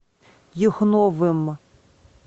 юхновым